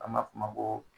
An ma f'o ma ko